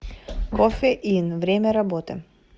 кофе ин время работы